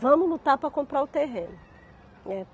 Vamos lutar para comprar o terreno, né.